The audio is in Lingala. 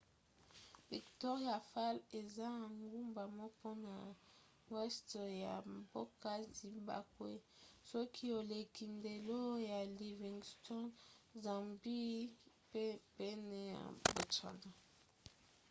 victoria falls eza engumba moko na weste ya mboka zimbabwe soki oleki ndelo ya livingstone zambie pe pene ya botswana